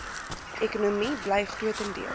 ekonomie bly grotendeels